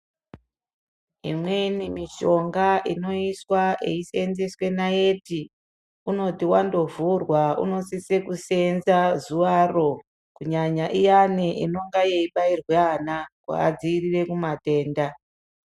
Imweni mishonga inoiswa yeiseenzeswe naiti, unoti wandovhurwa unosise kuseenza zuvaro, kunyanya iyani inenge yeibayirwa vana kuvadziirire matenda.